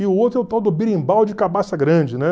E o outro é o tal do birimbau de cabaça grande, né?